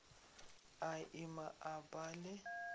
a ima a ba le